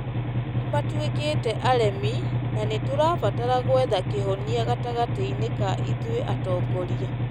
Nĩ matuĩkĩte aremi na nĩ tũrabatara gwetha kĩhonia gatagatĩ-inĩ ka ithũĩ atongoria .